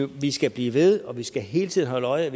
vi skal blive ved og vi skal hele tiden holde øje